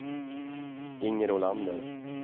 Inger Olander